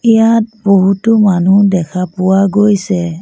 ইয়াত বহুতো মানুহ দেখা পোৱা গৈছে।